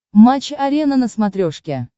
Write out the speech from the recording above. матч арена на смотрешке